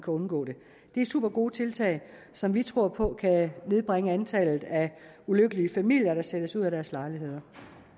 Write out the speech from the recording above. undgå det det er supergode tiltag som vi tror på kan nedbringe antallet af ulykkelige familier der sættes ud af deres lejligheder